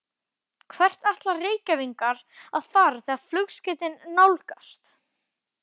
Hvert ætla Reykvíkingar að fara þegar flugskeytin nálgast?